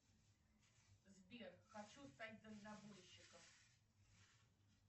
сбер хочу стать дальнобойщиком